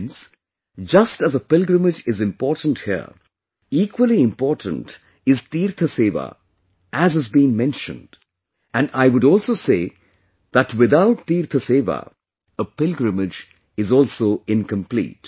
Friends, just as a pilgrimage is important here; equally important is 'teertha sewa' as has been mentioned and I would also say that without 'teertha sewa', a pilgrimage is also incomplete